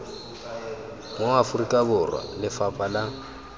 mo aforika borwa lefapha la